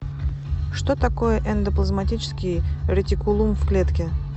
что такое эндоплазматический ретикулум в клетке